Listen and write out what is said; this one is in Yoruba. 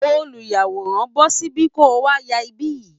Olùyàwòrán, bọ́ síbí, kó o wá ya ibí yìí